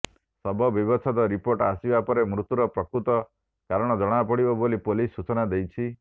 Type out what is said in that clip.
ଶବ ବ୍ୟବଚ୍ଛେଦ ରିପୋର୍ଟ ଆସିବା ପରେ ମୃତ୍ୟୁ ର ପ୍ରକୃତ କାରଣ ଜଣାପଡିବ ବୋଲି ପୋଲିସ ସୂଚନା ଦେଇଛି